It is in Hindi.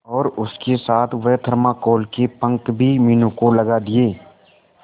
और उसके साथ वह थर्माकोल के पंख भी मीनू को लगा दिए